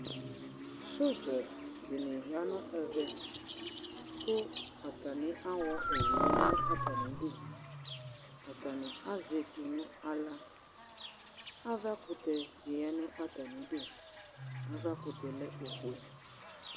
sodzadɩnɩ ya nʊ ɛmɛ, kʊ atami awɔ wu yɛ ya nʊ atamidu, atanɩ azɛ etu nʊ aɣla, avakʊtɛ ofue dɩ ta nʊ atamidu